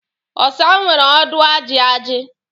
Ọsa nwere ọdụ ajị ajị.